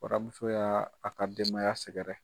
Waramuso y'a a ka denbaya sɛgɛrɛ.